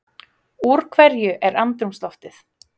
Úr hverju er andrúmsloftið?